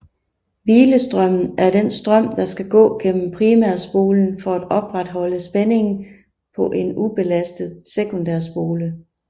Hvilestrømmen er den strøm der skal gå gennem primærspolen for at opretholde spændingen på en ubelastet sekundærspole